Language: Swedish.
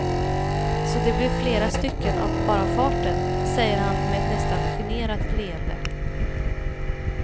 Så det blev flera stycken av bara farten, säger han med ett nästan generat leende.